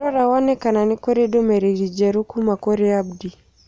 Rora wone kana nĩ kũrũ ndũmĩrĩri njerũ kuuma kũrĩ Abdi.